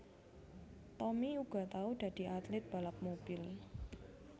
Tommy uga tau dadi atlit balap mobil